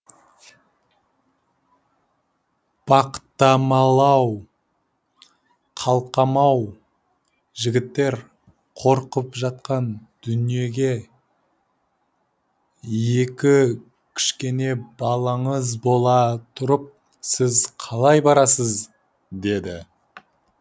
бақытамал ау қалқам ау жігіттер қорқып жатқан дүниеге екі кішкене балаңыз бола тұрып сіз қалай барасыз деді